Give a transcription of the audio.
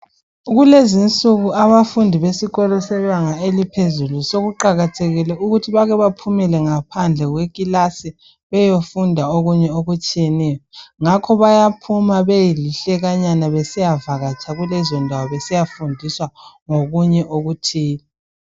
Kulezi insuku abafundi besikolo sebanga eliphezulu sokuqakathekile ukuthi bake baphumele ngaphandle kwekilasi beyofunda okunye okutshiyeneyo. Ngakho bayaphuma beyelihlekanyana besiyavakatsha kulezondawo besiyafundiswa ngokunye okuthile.